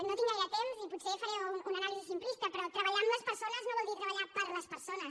no tinc gaire temps i potser en faré una anàlisi simplista però treballar amb les persones no vol dir treballar per a les persones